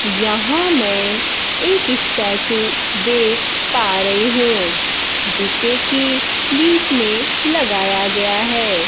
यहां मैं एक स्टैचू देख पा रही हूं जिसे कि बीच में लगाया गया है।